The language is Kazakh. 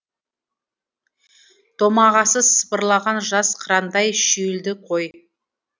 домағасы сыпырылаған жас қырандай шүйілді ғой